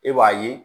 E b'a ye